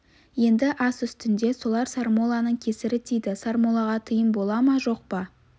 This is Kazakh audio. енді ас үстінде солар сармолланың кесірі тиді сармоллаға тыйым бола ма жоқ па